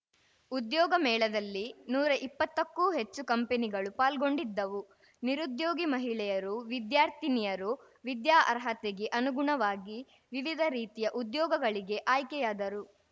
ಉದ್ಯೋಗ ಮೇಳದಲ್ಲಿ ನೂರಾ ಇಪ್ಪತ್ತಕ್ಕೂ ಹೆಚ್ಚು ಕಂಪಿನಿಗಳು ಪಾಲ್ಗೊಂಡಿದ್ದವು ನಿರುದ್ಯೋಗಿ ಮಹಿಳೆಯರು ವಿದ್ಯಾರ್ಥಿನಿಯರು ವಿದ್ಯಾಅರ್ಹತೆಗೆ ಅನುಗುಣವಾಗಿ ವಿವಿಧ ರೀತಿಯ ಉದ್ಯೋಗಗಳಿಗೆ ಆಯ್ಕೆಯಾದರು